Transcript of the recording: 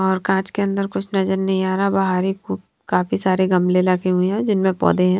और कांच के अंदर कुछ नजर नहीं आ रहा बाहरी को काफी सारे गमले लगे हुए हैं जिनमें पौधे हैं।